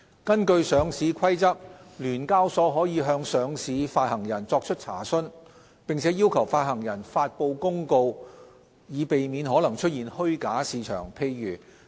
根據《上市規則》，聯交所可向上市發行人作出查詢，並要求發行人發布公告以避免可能出現虛假市場。